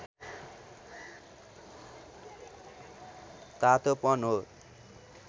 तातोपन हो